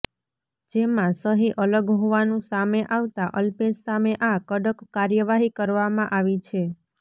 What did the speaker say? જેમાં સહી અલગ હોવાનું સામે આવતા અલ્પેશ સામે આ કડક કાર્યવાહી કરવામાં આવી છે